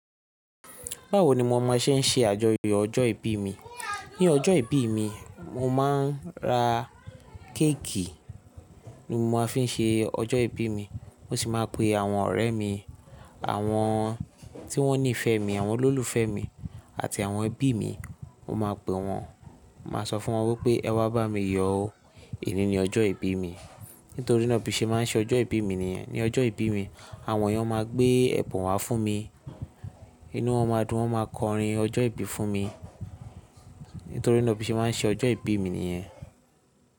Báwo ni mo máa ṣe ń ṣe àjọyọ̀ ọjọ́ ìbí mi? Ní ọjọ́ ìbí mi, mo máa ń ra kéèkì ni mo máa ń fi ṣe ọjọ́ ìbí mi. Mo sì máa ń pe àwọn ọ̀rẹ́ mi, àwọn tí wón nífẹ̀ẹ́ mi, àwọn olólùfẹ́ mi àti àwọn ẹbí mi. Mo máa pe wọn, màá sọ fún wọn wípé ẹ wá bá mi yọ̀ ó, oni ni ọjọ́ ìbí mi. Nítorí náà bí i ṣe máa ń ṣe ọjọ́ ìbí mi nìyẹn. Ní ọjọ́ ìbí mi, àwọn èèyàn máa gbé ẹ̀bùn wá fún mi. Inú wọn máa dùn, wọ́n máa kọrin ọjọ́ ìbí fún mi. Nítorí náà bí i ṣe máa ń ṣe ọjọ́ ìbí mi nìyẹn.